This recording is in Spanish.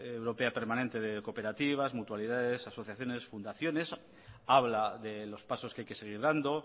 permanente europea de cooperativas mutualidades asociaciones fundaciones habla de los pasos que hay que seguir dando